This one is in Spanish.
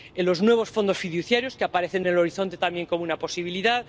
los nuevos fondos fiduciarios, que aparecen en el horizonte también como una posibilidad